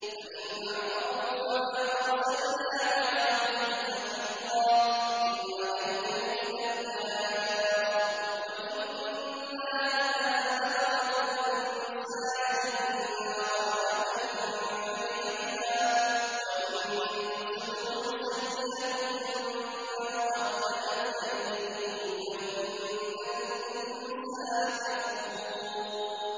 فَإِنْ أَعْرَضُوا فَمَا أَرْسَلْنَاكَ عَلَيْهِمْ حَفِيظًا ۖ إِنْ عَلَيْكَ إِلَّا الْبَلَاغُ ۗ وَإِنَّا إِذَا أَذَقْنَا الْإِنسَانَ مِنَّا رَحْمَةً فَرِحَ بِهَا ۖ وَإِن تُصِبْهُمْ سَيِّئَةٌ بِمَا قَدَّمَتْ أَيْدِيهِمْ فَإِنَّ الْإِنسَانَ كَفُورٌ